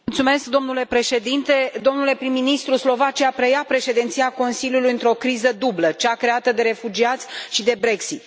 Domnule președinte, domnule prim ministru, Slovacia preia președinția Consiliului într o criză dublă cea creată de refugiați și de Brexit.